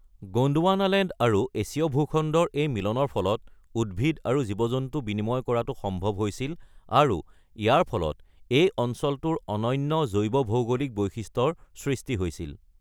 Gondwanaland আৰু এছীয় ভূখণ্ডৰ এই মিলনৰ ফলত উদ্ভিদ আৰু জীৱ-জন্তু বিনিময় কৰাটো সম্ভৱ হৈছিল আৰু ইয়াৰ ফলত এই অঞ্চলটোৰ অনন্য জৈৱভৌগোলিক বৈশিষ্ট্যৰ সৃষ্টি হৈছিল।